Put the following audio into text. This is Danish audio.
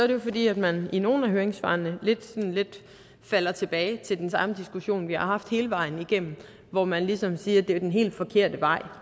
det jo fordi man i nogle af høringssvarene lidt falder tilbage til den samme diskussion vi har haft hele vejen igennem hvor man ligesom siger at det er den helt forkerte vej